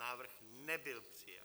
Návrh nebyl přijat.